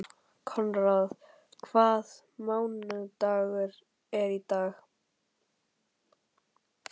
Konráð, hvaða mánaðardagur er í dag?